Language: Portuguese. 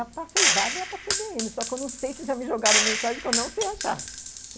Já passei vários lá para a cê bê ene só que eu não sei se já me jogaram mensagem que eu não sei achar.